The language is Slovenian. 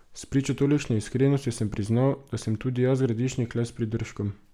Spričo tolikšne iskrenosti sem priznal, da sem tudi jaz Gradišnik le s pridržkom.